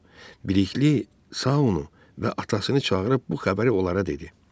Bilikli Saunu və atasını çağırıb bu xəbəri onlara dedi.